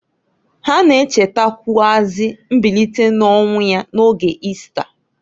Ha na-echetakwụazị mbilite n'ọnwụ ya n'oge Ista.